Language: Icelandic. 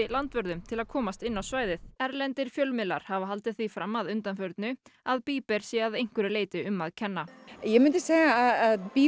landvörðum til að komast inn á svæðið erlendir fjölmiðlar hafa haldið því fram að undanförnu að sé að einhverju leyti um að kenna ég myndi segja að